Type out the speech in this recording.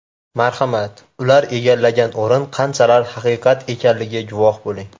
Marhamat, ular egallagan o‘rin qanchalar haqiqat ekanligini guvohi bo‘ling.